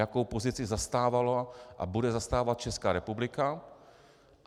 Jakou pozici zastávala a bude zastávat Česká republika?